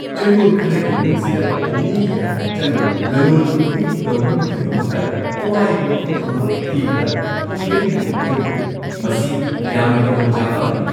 ꯆꯌꯣꯜ ꯈꯔꯒꯤ ꯃꯅꯨꯡꯁꯤꯗ ꯃꯤ ꯌꯥꯝꯅ ꯆꯪꯕ ꯂꯂꯣꯟ-ꯏꯇꯤꯛ ꯇꯧꯅꯕꯒꯤꯗꯃꯛꯇ ꯑꯋꯥꯏꯕ ꯃꯐꯝ ꯑꯃ ꯊꯤꯕꯗ ꯐꯪꯒꯅꯤ ꯍꯥꯏꯅ ꯊꯥꯖꯔꯨꯗꯦ - ꯃꯁꯤ ꯌꯥꯝꯅ ꯈꯨꯗꯣꯡꯆꯥꯕ ꯑꯃꯅꯤ ꯫